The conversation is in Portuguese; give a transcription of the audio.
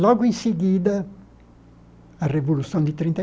Logo em seguida, a Revolução de trinta e.